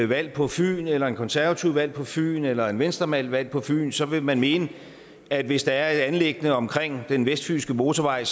valgt på fyn eller en konservativ valgt på fyn eller en venstremand valgt på fyn så vil man mene at hvis der er et anliggende omkring den vestfynske motorvej